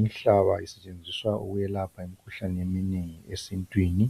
Inhlaba isetshenziswa ukwelapha imikhuhlane eminengi esintwini